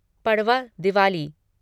Padwa Diwali